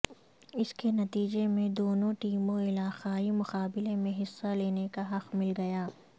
اس کے نتیجے میں دونوں ٹیموں علاقائی مقابلے میں حصہ لینے کا حق مل گیا